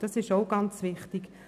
Das ist auch ganz wichtig.